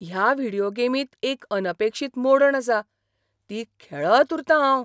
ह्या व्हिडियो गेमींत एक अनपेक्षीत मोडण आसा. ती खेळत उरतां हांव!